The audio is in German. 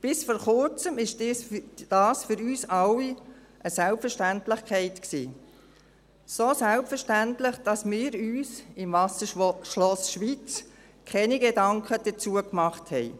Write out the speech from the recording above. Bis vor Kurzem war dies für uns alle eine Selbstverständlichkeit – so selbstverständlich, dass wir uns im Wasserschloss Schweiz keine Gedanken dazu gemacht haben.